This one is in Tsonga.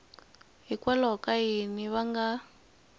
hikwalaho ka yini va nga